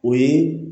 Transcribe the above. O ye